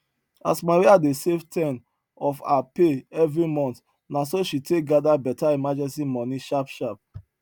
as maria dey save ten of her pay every month na so she take gather better emergency money sharp sharp